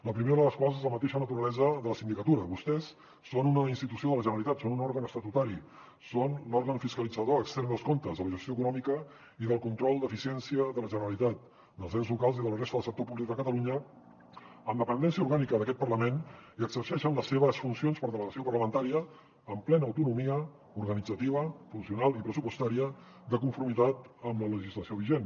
la primera de les quals és la mateixa naturalesa de la sindicatura vostès són una institució de la generalitat són un òrgan estatutari són l’òrgan fiscalitzador extern dels comptes de la gestió econòmica i del control d’eficiència de la generalitat dels ens locals i de la resta del sector públic de catalunya amb dependència orgànica d’aquest parlament i exerceixen les seves funcions per delegació parlamentària amb plena autonomia organitzativa funcional i pressupostària de conformitat amb la legislació vigent